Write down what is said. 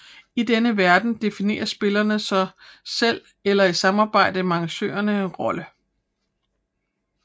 I denne verden definerer spillerne så selv eller i samarbejde med arrangørerne en rolle